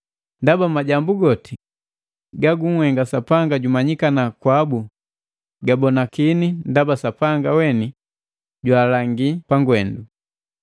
Ndaba goti majambu gagunhenga Sapanga jumanyikana kwabu gabonakini ndaba Sapanga weni jwaalangi pangwendu.